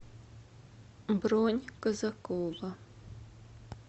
бронь казакова